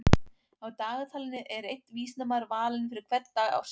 Á dagatalinu er einn vísindamaður valinn fyrir hvern dag ársins.